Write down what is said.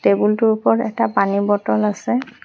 টেবুলটোৰ ওপৰত এটা পানী বটল আছে।